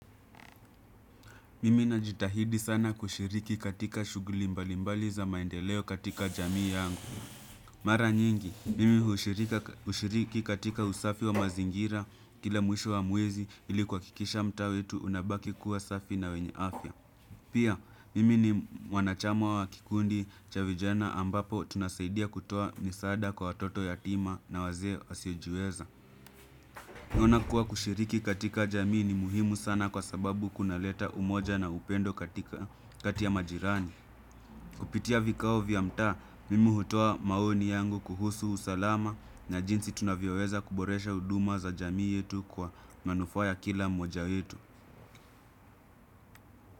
Mimi najitahidi sana kushiriki katika shughuli mbalimbali za maendeleo katika jamii yangu. Mara nyingi, mimi hushiriki katika usafi wa mazingira, kila mwisho wa mwezi ili kuhakikisha mtaa wetu unabaki kuwa safi na wenye afya. Pia, mimi ni mwanachama wa kikundi cha vijana ambapo tunasaidia kutoa misaada kwa watoto yatima na wazee wasiojiweza. Naona kuwa kushiriki katika jamii ni muhimu sana kwa sababu kunaleta umoja na upendo kati ya majirani. Kupitia vikao vya mtaa, mimi hutoa maoni yangu kuhusu usalama na jinsi tunavyoweza kuboresha huduma za jamii yetu kwa manufaa ya kila mmoja wetu.